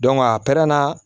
a pɛrɛnna